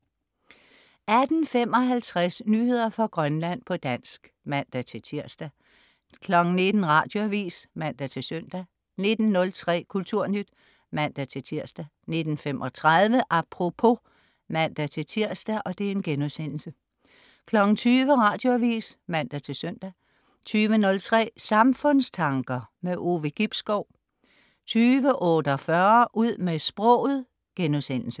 18.55 Nyheder fra Grønland, på dansk (man-tirs) 19.00 Radioavis (man-søn) 19.03 Kulturnyt (man-tirs) 19.35 Apropos (man-tirs)* 20.00 Radioavis (man-søn) 20.03 Samfundstanker. Ove Gibskov 20.48 Ud med sproget*